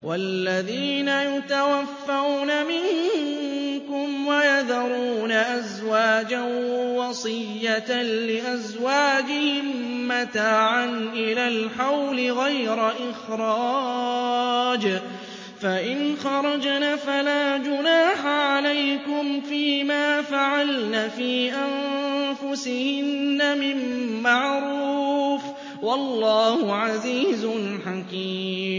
وَالَّذِينَ يُتَوَفَّوْنَ مِنكُمْ وَيَذَرُونَ أَزْوَاجًا وَصِيَّةً لِّأَزْوَاجِهِم مَّتَاعًا إِلَى الْحَوْلِ غَيْرَ إِخْرَاجٍ ۚ فَإِنْ خَرَجْنَ فَلَا جُنَاحَ عَلَيْكُمْ فِي مَا فَعَلْنَ فِي أَنفُسِهِنَّ مِن مَّعْرُوفٍ ۗ وَاللَّهُ عَزِيزٌ حَكِيمٌ